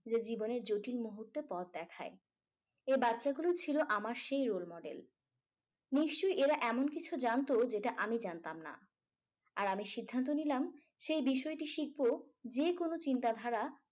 যে জীবনের জটিল মুহূর্তে পথ দেখায় এ বাচ্চাগুলো ছিল আমার সেই role model নিশ্চই এরা এমন কিছু জানতো যেটা আমি জানতাম না আর আমি সিদ্ধান্ত নিলাম সেই বিষয়টি শিখবো যেকোনো চিন্তাধারা